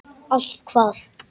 Allt hvað?